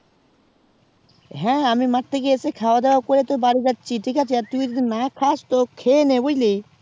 হ্যাঁ আমি মাঠ থেকে এসে খাওয়া দাওয়া করে তো বাড়ি যাচ্ছি আর তুই যদি না খাস তো তুই খেয়ে নে বুঝলি